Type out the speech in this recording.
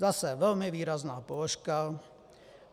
Zase velmi výrazná položka.